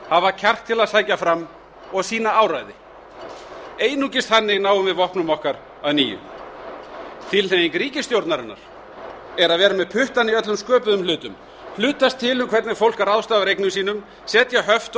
hafa kjark til að sækja fram og sýna áræði einungis þannig náum við vopnum okkar að nýju tilhneiging ríkisstjórnarinnar er að vera með puttana í öllum sköpuðum hlutum hlutast til um hvernig fólk ráðstafar eignum sínum setja höft